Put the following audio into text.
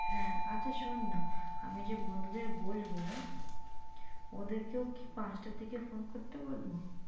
হ্যাঁ আচ্ছা শোনান আমি যে বন্ধুদের বলবো ওদের কেও কি পাঁচটার দিকে phone করতে বলবো?